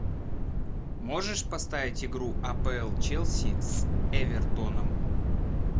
можешь поставить игру апл челси с эвертоном